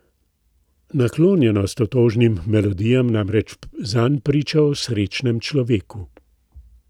Naklonjenost otožnim melodijam namreč zanj priča o srečnem človeku.